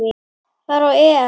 fara á EM.